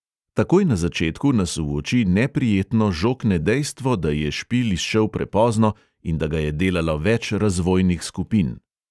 Takoj na začetku nas v oči neprijetno žokne dejstvo, da je špil izšel prepozno in da ga je delalo več razvojnih skupin.